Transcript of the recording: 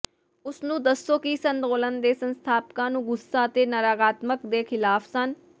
ਉਸ ਨੂੰ ਦੱਸੋ ਕਿ ਇਸ ਅੰਦੋਲਨ ਦੇ ਸੰਸਥਾਪਕਾਂ ਨੂੰ ਗੁੱਸਾ ਅਤੇ ਨਕਾਰਾਤਮਕਤਾ ਦੇ ਖਿਲਾਫ ਸਨ